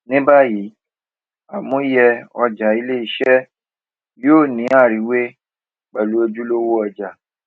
ní bàyìí àmúyẹ ọjà iléiṣé yóò ní àriwé pèlú ojúlówó ọjà